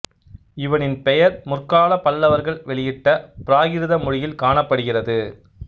இவனின் பெயர் முற்காலப் பல்லவர்கள் வெளியிட்ட பிராகிருத மொழியில் காணப்படுகிறது